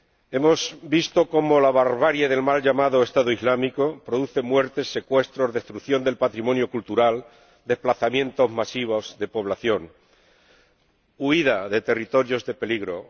Hemos visto cómo la barbarie del mal llamado Estado Islámico produce muertes, secuestros, destrucción del patrimonio cultural, desplazamientos masivos de población, huida de territorios de peligro.